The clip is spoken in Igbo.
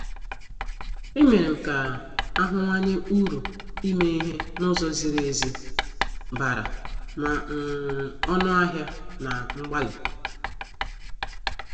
E merem ka ahuwanye uru ime ihe n' ụzọ ziri ezi bara ma um ọnụ ahịa na mgbalị.